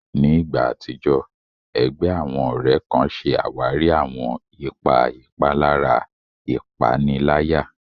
Ní ìgbà àtijọ́, ẹgbẹ́ àwọn ọ̀rẹ́ kan ṣe àwárí àwọn ipa ìpalára ìpaniláyà.